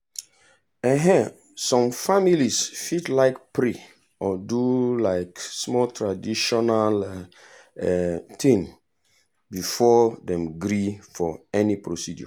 um some families fit like pray or do um small traditional um thing before dem gree for any procedure.